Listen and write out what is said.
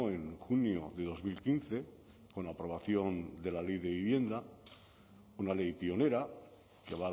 en junio de dos mil quince con la aprobación de la ley de vivienda una ley pionera que